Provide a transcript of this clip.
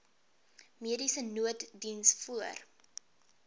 mediese nooddiens voor